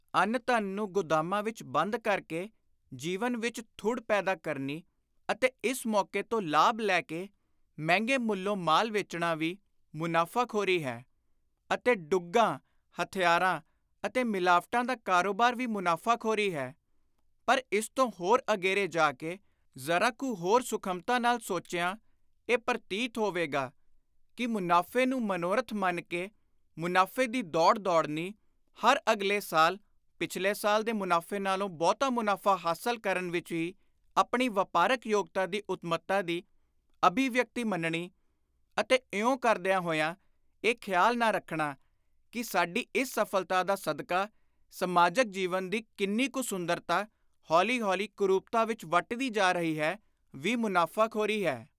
ਅੰਨ-ਧਨ ਨੂੰ ਗੁਦਾਮਾਂ ਵਿਚ ਬੰਦ ਕਰ ਕੇ ਜੀਵਨ ਵਿਚ ਥੁੜ ਪੈਦਾ ਕਰਨੀ ਅਤੇ ਇਸ ਮੌਕੇ ਤੋਂ ਲਾਭ ਲੈ ਕੇ ਮਹਿੰਗੇ ਮੁੱਲੋਂ ਮਾਲ ਵੇਚਣਾ ਵੀ ਮੁਨਾਫ਼ਾਖ਼ੋਰੀ ਹੈ ਅਤੇ ਡੁੱਗਾਂ, ਹਥਿਆਰਾਂ ਅਤੇ ਮਿਲਾਵਟਾਂ ਦਾ ਕਾਰੋਬਾਰ ਵੀ ਮੁਨਾਫ਼ਾਖ਼ਰੀ ਹੈ; ਪਰ ਇਸ ਤੋਂ ਹੋਰ ਅਗੇਰੇ ਜਾ ਕੇ, ਜ਼ਰਾ ਕੁ ਹੋਰ ਸੁਖਮਤਾ ਨਾਲ ਸੋਚਿਆਂ ਇਹ ਪਰਤੀਤ ਹੋਵੇਗਾ ਕਿ ਮੁਨਾਫ਼ੇ ਨੂੰ ਮਨੋਰਥ ਮੰਨ ਕੇ ਮੁਨਾਫ਼ੇ ਦੀ ਦੌੜ ਦੌੜਨੀ; ਹਰ ਅਗਲੇ ਸਾਲ, ਪਿਛਲੇ ਸਾਲ ਦੇ ਮੁਨਾਫ਼ੇ ਨਾਲੋਂ ਬਹੁਤਾ ਮੁਨਾਫ਼ਾ ਹਾਸਲ ਕਰਨ ਵਿਚ ਹੀ ਆਪਣੀ ਵਾਪਾਰਕ ਯੋਗਤਾ ਦੀ ਉੱਤਮਤਾ ਦੀ ਅਭਿਵਿਅਕਤੀ ਮੰਨਣੀ; ਅਤੇ ਇਉਂ ਕਰਦਿਆਂ ਹੋਇਆਂ ਇਹ ਖ਼ਿਆਲ ਨਾ ਰੱਖਣਾ ਕਿ ਸਾਡੀ ਇਸ ਸਫਲਤਾ ਦਾ ਸਦਕਾ ਸਮਾਜਕ ਜੀਵਨ ਦੀ ਕਿੰਨੀ ਕੁ ਸੁੰਦਰਤਾ, ਹੌਲੀ ਹੌਲੀ ਕੁਰੁਪਤਾ ਵਿਚ ਵੱਟਦੀ ਜਾ ਰਹੀ ਹੈ, ਵੀ ਮੁਨਾਫ਼ਾਖ਼ੋਰੀ ਹੈ।